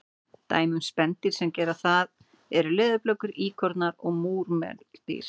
Dæmi um spendýr sem gera það eru leðurblökur, íkornar og múrmeldýr.